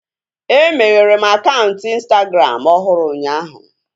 E meghere m akaụntụ ịnstagram ọhụrụ ụnyaahụ